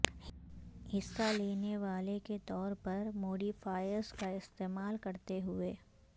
حصہ لینے والے کے طور پر موڈیفائرز کا استعمال کرتے ہوئے